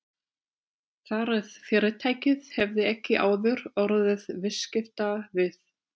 Þar eð fyrirtækið hefði ekki áður orðið viðskipta við